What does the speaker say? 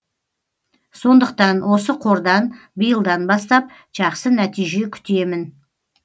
сондықтан осы қордан биылдан бастап жақсы нәтиже күтемін